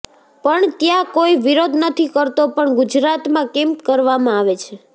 પણ ત્યાં કોઈ વિરોધ નથી કરતો પણ ગુજરાતમાં કેમ કરવામાં આવે છે